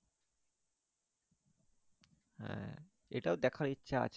হ্যাঁ এটার দেখার ইচ্ছা আছে।